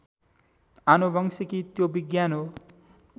आनुवंशिकी त्यो विज्ञान हो